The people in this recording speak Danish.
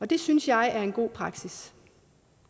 det synes jeg er en god praksis